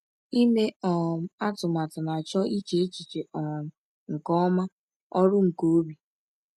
Ịme um atụmatụ na-achọ iche echiche um nke ọma—ọrụ nke obi.